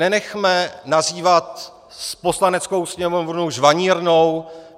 Nenechme nazývat Poslaneckou sněmovnu žvanírnou.